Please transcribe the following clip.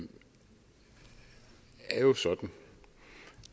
er jo sådan